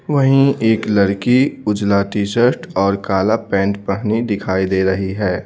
वहीं एक लड़की उजला टी-शर्ट और काला पैंट पहनी दिखाई दे रही है।